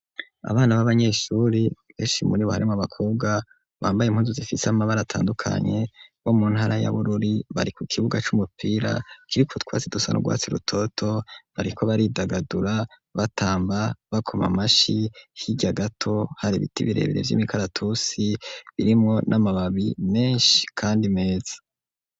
Abana b'abanyeshure benshi muri bo harimwo abakobwa bambaye impunzu zifise amabare atandukanye bo mu ntara ya Bururi bari ku kibuga c'umupira kiriko twasi dusa n'urwatsi rutoto bariko baridagadura, batamba, bakoma amashi, hirya gato hari ibiti birebire vy'imikaratusi birimwo n'amababi menshi kandi meza.